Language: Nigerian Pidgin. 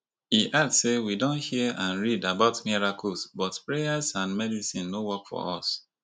e add say we don hear and read about miracles but prayers and medicine no work for us